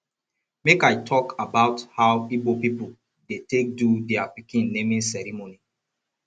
make i tok about how igbo pipol dey take do dia pikin naming ceremony